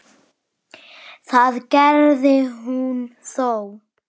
Það gerði hún þó.